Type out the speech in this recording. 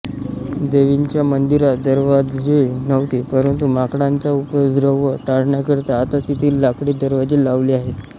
देवीच्या मंदिरास दरवाजे नव्हते परंतु माकडांचा उपद्रव टाळण्याकरीता आता तेथे लाकडी दरवाजे लावले आहेत